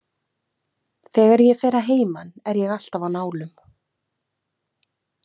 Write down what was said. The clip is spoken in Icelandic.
Þegar ég fer að heiman er ég alltaf á nálum.